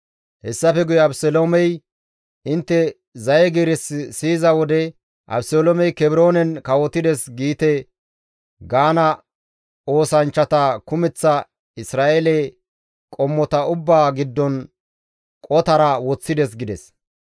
Hessafe guye Abeseloomey, «Intte zaye giiris siyiza wode, ‹Abeseloomey Kebroonen kawotides› giite gaana oosanchchata kumeththa Isra7eele qommota ubbaa giddon qotara woththides» gides.